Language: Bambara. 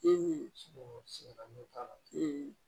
n'o t'a la